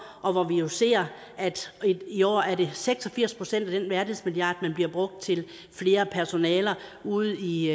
og hvor vi jo ser at det i år er seks og firs procent af den værdighedsmilliard der bliver brugt til flere personaler ude i